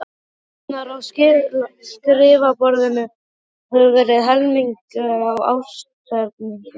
Fæturnir á skrifborðinu höfðu verið helmingaðir af ásetningi.